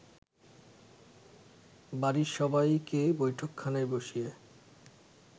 বাড়ির সবাইকে বৈঠকখানায় বসিয়ে